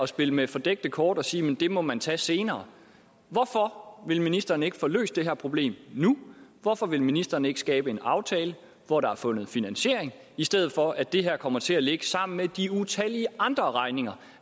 spille med fordækte kort at sige at det må man tage senere hvorfor vil ministeren ikke få løst det her problem nu hvorfor vil ministeren ikke skabe en aftale hvor der er fundet en finansiering i stedet for at det her kommer til at ligge sammen med de utallige andre regninger